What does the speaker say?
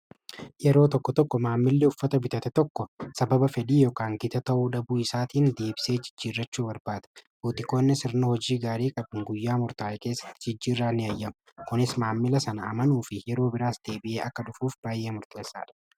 Yeroo tokko tokko maammillii uffata bitate tokko sababa fedhii ykn gita ta'uu dhabuu isaatiin deebisee jijjiirrachuu barbaada. buutikoonni sirna hojii gaarii qabuun guyyaa murtaa'e keessatti jijjiirraa ni ayyamu. kunis maammila san amanuu fi yeroo biraas deebi'ee akka dhufuuf baayyee murteessaadha.